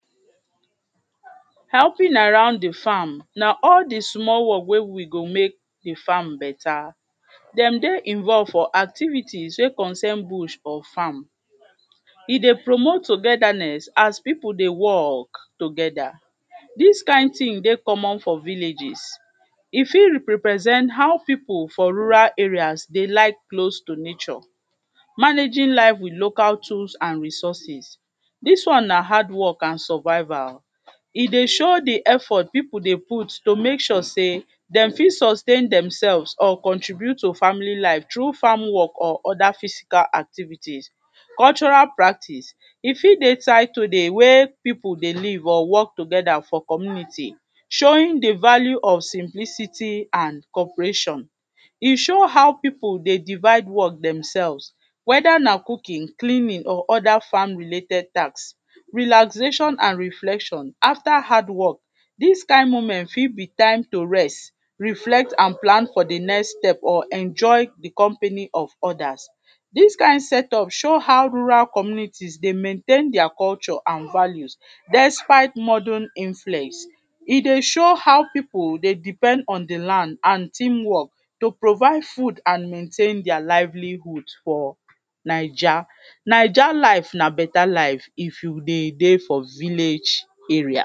Helping around di farm na all di small work wey we go make di farm better, dey dey involve for activities wey concern bush or farm, e dey promote togetherness as pipu dey work together, dis kind tin dey common for villages, e fit represent how pipu for rural areas dey like close to nature, managing life with local tools and resources, dis one na hard work and survival, e dey show di effort pipu dey put to make sure sey dem fit sustain demsefs or contribute to family life through farm work or other physical activities. Cultural practice e fit dey tired to dey where pipu dey live or work together for community showing di value of simplicity and cooperation, e show how pipu dey divide work demsefs whether na cooking, cleaning or other farm related tasks. Relaxation and reflection after hardwork, dis kind moment fit be time to rest, reflect and plan for di next step or enjoy di company of others, dis kind set up show how rural communities dey maintain dia culture and value despite modern influence, e dey show pipu dey depend on di land and teamwork to provide food and maintain dia livelihood for Najai, Najai life na better life if you dey dey for village area.